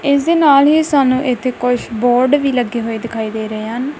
ਇਸ ਦੇ ਨਾਲ ਹੀ ਸਾਨੂੰ ਇਥੇ ਕੁਝ ਬੋਰਡ ਵੀ ਲੱਗੇ ਹੋਏ ਦਿਖਾਈ ਦੇ ਰਹੇ ਹਨ।